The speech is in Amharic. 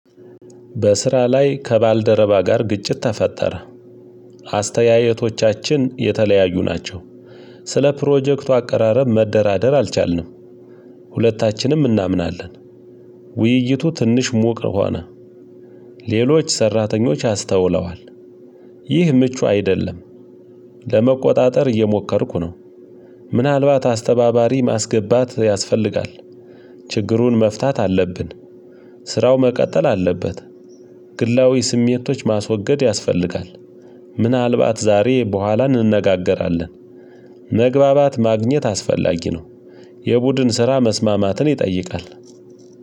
በስራ ላይ ከባልደረባ ጋር ግጭት ተፈጠረ። አስተያየቶቻችን የተለያዩ ናቸው። ስለ ፕሮጀክቱ አቀራረብ መደራደር አልቻልንም። ሁለታችንም እናምናለን ውይይቱ ትንሽ ሙቅ ሆነ። ሌሎች ሰራተኞች አስተውለዋል። ይህ ምቹ አይደለም። ለመቆጣጠር እየሞከርኩ ነው። ምናልባት አስተባባሪ ማስገባት ያስፈልጋል። ችግሩን መፍታት አለብን። ስራው መቀጠል አለበት። ግላዊ ስሜቶች ማስወገድ ያስፈልጋል። ምናልባት ዛሬ በኋላ እንነጋገራለን። መግባባት ማግኘት አስፈላጊ ነው። የቡድን ስራ መስማማትን ይጠይቃል።